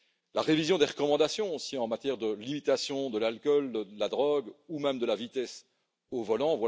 une révision des recommandations, aussi, en matière de limitation de l'alcool, de la drogue ou même de la vitesse au volant.